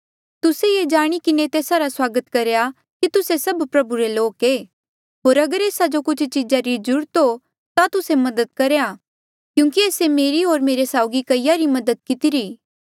तुस्से ये जाणी किन्हें तेस्सा रा स्वागत करहा कि तुस्से सभ प्रभु रे लोक ऐें होर अगर एस्सा जो कुछ चीजा री ज्रूरत हो ता तुस्से मदद करेया क्यूंकि एस्से मेरी होर मेरे साउगी कईया री मदद कितिरी